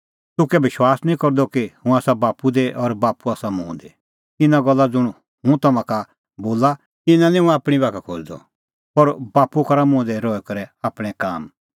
तूह कै विश्वास निं करदअ कि हुंह आसा बाप्पू दी और बाप्पू आसा मुंह दी इना गल्ला ज़ुंण हुंह तम्हां का बोला इना निं हुंह आपणीं बाखा खोज़दअ पर बाप्पू करा मुंह दी रही करै आपणैं काम